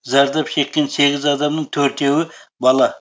зардап шеккен сегіз адамның төртеуі бала